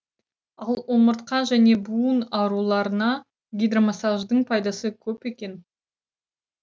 ал омыртқа және буын ауруларына гидромассаждың пайдасы көп екен